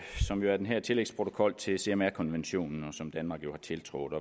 som jo er den her tillægsprotokol til cmr konventionen som danmark har tiltrådt